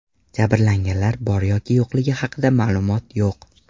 Jabrlanganlar bor yoki yo‘qligi haqida ma’lumot yo‘q.